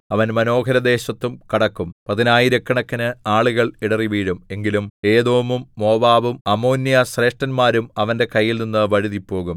അവൻ മനോഹരദേശത്തും കടക്കും പതിനായിരക്കണക്കിന് ആളുകൾ ഇടറിവീഴും എങ്കിലും ഏദോമും മോവാബും അമ്മോന്യശ്രേഷ്ഠന്മാരും അവന്റെ കൈയിൽനിന്ന് വഴുതിപ്പോകും